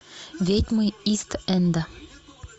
ведьмы ист энда